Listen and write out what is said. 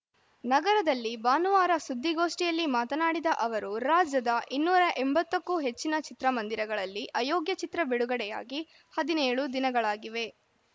ನಗರದಲ್ಲಿ ಭಾನುವಾರ ಸುದ್ದಿಗೋಷ್ಟಿಯಲ್ಲಿ ಮಾತನಾಡಿದ ಅವರು ರಾಜ್ಯದ ಇನ್ನೂರ ಎಂಬತ್ತಕ್ಕೂ ಹೆಚ್ಚಿನ ಚಿತ್ರಮಂದಿರಗಳಲ್ಲಿ ಅಯೋಗ್ಯ ಚಿತ್ರ ಬಿಡುಗಡೆಯಾಗಿ ಹದಿನೇಳು ದಿನಗಳಾಗಿವೆ